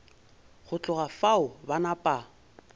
go tloga fao ba napa